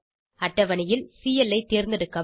அட்டவணையில் சிஎல் ஐ தேர்ந்தெடுக்கவும்